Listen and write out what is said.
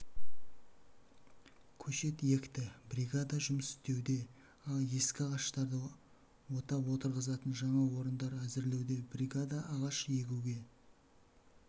көшет екті бригада жұмыс істеуде ескі ағаштарды отап отырғызатын жаңа орындар әзірлеуде бригада ағаш егуге